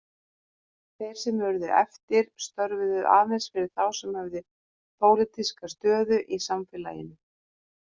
Þeir sem urðu eftir störfuðu aðeins fyrir þá sem höfðu pólitíska stöðu í samfélaginu.